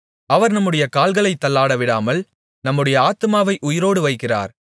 அவர் நம்முடைய கால்களைத் தள்ளாடவிடாமல் நம்முடைய ஆத்துமாவை உயிரோடு வைக்கிறார்